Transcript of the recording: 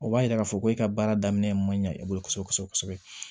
O b'a yira k'a fɔ ko e ka baara daminɛ man ɲɛ e bolo kosɛbɛ kosɛbɛ